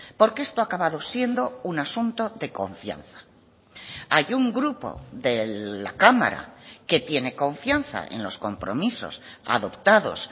porque esto ha acabado siendo un asunto de confianza hay un grupo de la cámara que tiene confianza en los compromisos adoptados